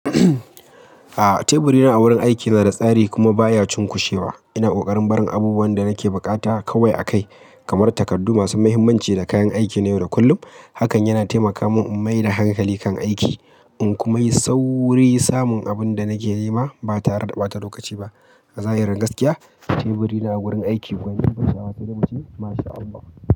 A'a, teburi na a wurin aiki na da tsari kuma baya cunkushewa. Ina kokarin barin abubuwan da nake buƙata kawai a kai, kamar takardu masu mahimmanci da kayan aiki na yau da kullum. Hakan yana taimaka mun in maida hankali kan aiki, in kuma yi sauri samun abin da nake nema ba tare da ɓata lokaci ba. A zahirin gaskiya, teburi na a wurin aiki gwanin bashi hawa sai da mutum. MashAllah.